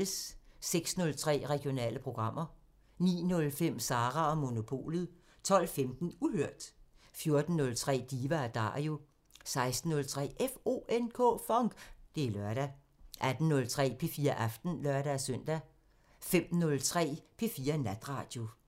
06:03: Regionale programmer 09:05: Sara & Monopolet 12:15: Uhørt 14:03: Diva & Dario 16:03: FONK! Det er lørdag 18:03: P4 Aften (lør-søn) 05:03: P4 Natradio